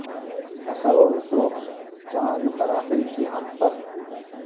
اثر و رسوخ چاند مراحل کی ہم پر